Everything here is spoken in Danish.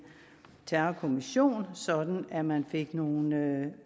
terrorkommission sådan at man fik nogle